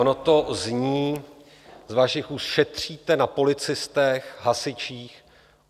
Ono to zní z vašich úst "šetříte na policistech, hasičích".